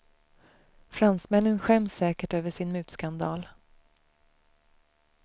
Fransmännen skäms säkert över sin mutskandal.